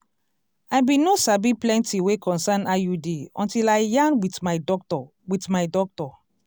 i bin no sabi plenti wey concern iud until i yarn wit my doctor wit my doctor